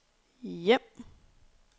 hjem